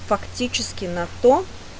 фактически на то